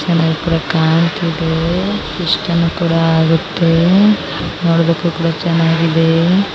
ಚೆನ್ನಾಗ್ ಕೂಡ ಕಾಣ್ತಿದೆ ಇಷ್ಟಾನು ಆಗತ್ತೆ ನೋಡಕ್ ಕೂಡ ಚೆನ್ನಾಗಿದೆ.